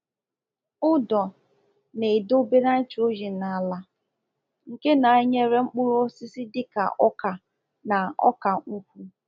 Ụ̀dọ na-edobe nitrogen n’ala, nke na-enyere mkpụrụ osisi dị ka ọka na ọka-nkwu.